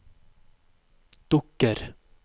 dukker